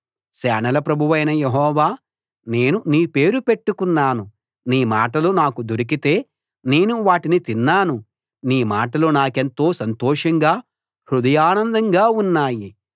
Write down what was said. సేనల ప్రభువైన యెహోవా నేను నీ పేరు పెట్టుకున్నాను నీ మాటలు నాకు దొరికితే నేను వాటిని తిన్నాను నీ మాటలు నాకెంతో సంతోషంగా హృదయానందంగా ఉన్నాయి